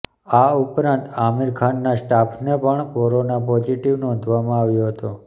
આ ઉપરાંત આમિર ખાનના સ્ટાફને પણ કોરોના પોઝિટિવ નોંધવામાં આવ્યો હતો